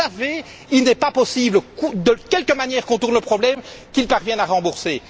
Vous le savez, il n'est pas possible, de quelque manière qu'on tourne le problème, qu'ils parviennent à rembourser.